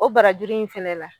O barajuru in fɛnɛ la